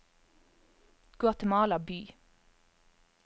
Guatemala by